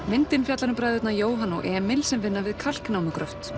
myndin fjallar um bræðurna Jóhann og Emil sem vinna við